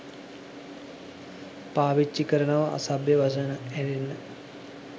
පාවිච්චි කරනවා අසභ්‍ය වචන ඇරෙන්න.